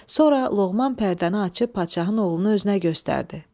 Sonra Loğman pərdəni açıb padşahın oğlunu özünə göstərdi.